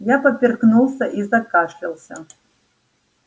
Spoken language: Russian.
я поперхнулся и закашлялся